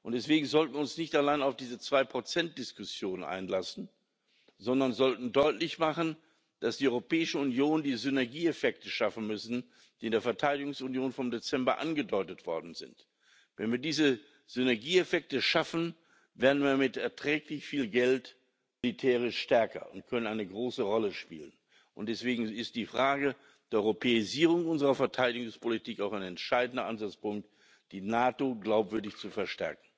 Und deswegen sollten wir uns nicht allein auf diese 2 Diskussion einlassen, sondern wir sollten deutlich machen, dass die Europäische Union die Synergieeffekte schaffen muss, die in der Verteidigungsunion vom Dezember angedeutet worden sind. Wenn wir diese Synergieeffekte schaffen, werden wir mit erträglich viel Geld militärisch stärker und können eine große Rolle spielen. Deswegen ist die Frage der Europäisierung unserer Verteidigungspolitik auch ein entscheidender Ansatzpunkt, die NATO glaubwürdig zu stärken.